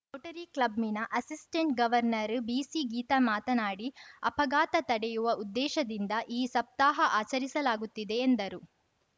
Rotary ಕ್ಲಬ್‌ನ assistant governor ಬಿಸಿಗೀತಾ ಮಾತನಾಡಿ ಅಪಘಾತ ತಡೆಯುವ ಉದ್ದೇಶದಿಂದ ಈ ಸಪ್ತಾಹ ಆಚರಿಸಲಾಗುತ್ತಿದೆ ಎಂದರು